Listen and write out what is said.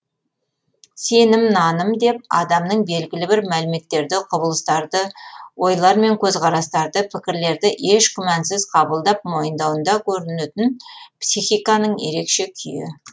сенім наным деп адамның белгілі бір мәліметтерді құбылыстарды ойлар мен көзқарастарды пікірлерді еш күмәнсіз қабылдап мойындауында көрінетін психиканың ерекше күйі